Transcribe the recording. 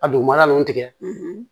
A dugumana nunnu tigɛ